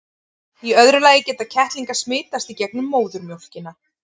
í öðru lagi geta kettlingar smitast í gegnum móðurmjólkina